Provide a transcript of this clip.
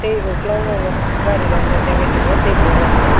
tei ungkolokgo bo gari rok nukjakgwi tongo tei borok rok.